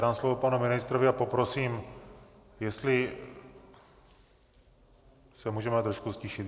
Dám slovo panu ministrovi a poprosím, jestli se můžeme trošku ztišit.